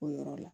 O yɔrɔ la